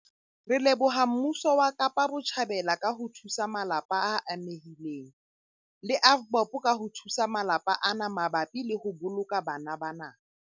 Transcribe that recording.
Re leboha mmuso wa Kapa Botjhabela ka ho thusa malapa a amehileng le AVBOB ka ho thusa malapa ana mabapi le ho boloka bana bana.